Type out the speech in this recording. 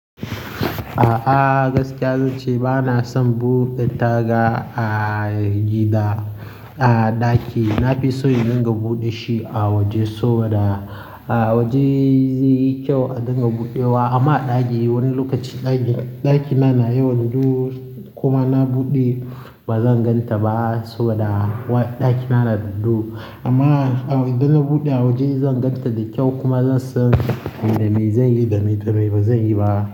A'a gaskiya zan ce bana son buɗe taga a gida, a ɗaki. Na fi so in dinga buɗe shi a waje saboda a waje zai yi kyau a dinga buɗewa. Amma a ɗaki wani lokaci ɗaki, ɗakina na yawan duhu kuma na buɗe ba zan gan ta ba saboda wa-- ɗakina na da dahu. Amma idan na buɗe a waje zan gan ta da kyau kuma zan san me da mai zan yi da me da mai ba zan yi ba.